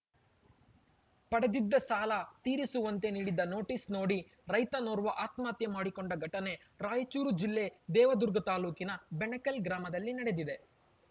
ಪಡೆದಿದ್ದ ಸಾಲ ತೀರಿಸುವಂತೆ ನೀಡಿದ ನೋಟಿಸ್‌ ನೋಡಿ ರೈತನೋರ್ವ ಆತ್ಮಹತ್ಯೆ ಮಾಡಿಕೊಂಡ ಘಟನೆ ರಾಯಚೂರು ಜಿಲ್ಲೆ ದೇವದುರ್ಗ ತಾಲೂಕಿನ ಬೆಣಕಲ್‌ ಗ್ರಾಮದಲ್ಲಿ ನಡೆದಿದೆ